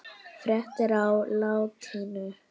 Fréttir á latínu